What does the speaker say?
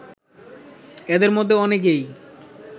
এদের মধ্যে অনেকেই